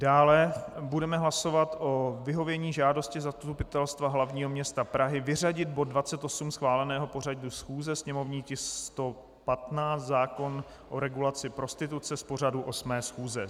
Dále budeme hlasovat o vyhovění žádosti Zastupitelstva hlavního města Prahy vyřadit bod 28 schváleného pořadu schůze, sněmovní tisk 115, zákon o regulaci prostituce z pořadu 8. schůze.